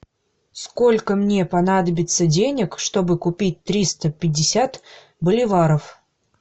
сколько мне понадобится денег чтобы купить триста пятьдесят боливаров